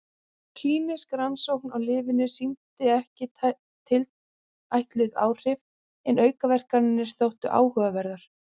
Klínísk rannsókn á lyfinu sýndi ekki tilætluð áhrif en aukaverkanirnar þóttu áhugaverðar.